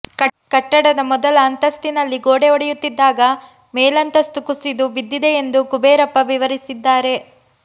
ಕಟ್ಟಡದ ಮೊದಲ ಅಂತಸ್ತಿನಲ್ಲಿ ಗೋಡೆ ಒಡೆಯುತ್ತಿದ್ದಾಗ ಮೇಲಂತಸ್ತು ಕುಸಿದು ಬಿದ್ದಿದೆ ಎಂದು ಕುಬೇರಪ್ಪ ವಿವರಿಸಿದ್ದಾರೆ